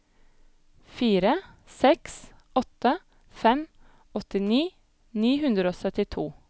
fire seks åtte fem åttini ni hundre og syttito